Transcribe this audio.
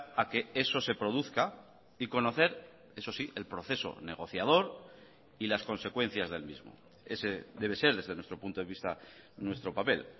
a que eso se produzca y conocer eso sí el proceso negociador y las consecuencias del mismo ese debe ser desde nuestro punto de vista nuestro papel